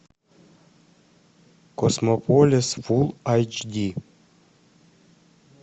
космополис фул айч ди